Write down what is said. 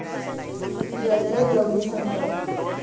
जय जय गौरी शंकर